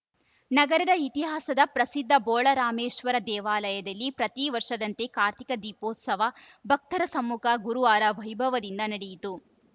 ನಗರದ ಇತಿಹಾಸದ ಪ್ರಸಿದ್ಧ ಬೋಳರಾಮೇಶ್ವರ ದೇವಾಲಯದಲ್ಲಿ ಪ್ರತಿ ವರ್ಷದಂತೆ ಕಾರ್ತೀಕ ದೀಪೋತ್ಸವ ಭಕ್ತರ ಸಮ್ಮುಖ ಗುರುವಾರ ವೈಭವದಿಂದ ನಡೆಯಿತು